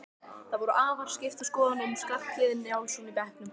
Það voru afar skiptar skoðanir um Skarphéðin Njálsson í bekknum.